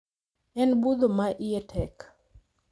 En budho ma iye tek